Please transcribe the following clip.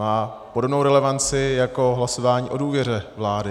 Má podobnou relevanci jako hlasování o důvěře vlády.